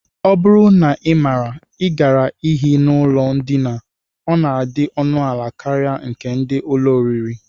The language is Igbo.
Ọ bụrụ na ị maara, I gaara ehi n'ụlọ ndina, ọ na-adị ọnụala karịa nke ndị ụlọ oriri